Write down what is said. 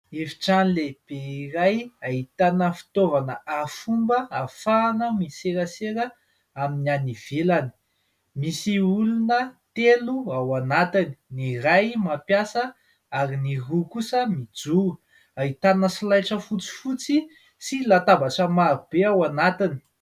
Efitrano lehibe iray ahitana fitaovana arifomba, ahafahana miserasera amin'ny any ivelany. Misy olona telo ao anatiny : ny iray mampiasa ary ny roa kosa mijoro. Ahitana solaitra fotsifotsy sy latabatra marobe ao anatiny.